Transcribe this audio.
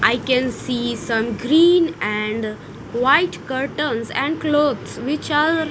I can see some green and white curtains and clothes which are--